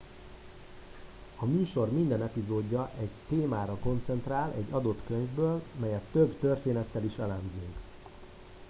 a műsor minden epizódja egy témára koncentrál egy adott könyvből melyet több történettel is elemzünk